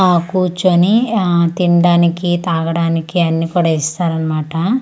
ఆ కూర్చొని ఆ తినడానికి తాగడానికి అన్నీ కూడా ఇస్తారు అన్నమాట.